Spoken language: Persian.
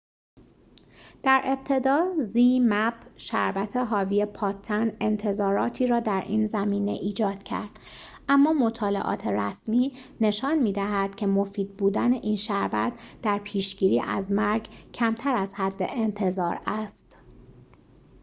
شربت حاوی پادتن zmapp در ابتدا انتظاراتی را در این زمینه ایجاد کرد اما مطالعات رسمی نشان می‌دهد که مفید بودن این شربت در پیشگیری از مرگ کمتر از حد انتظار است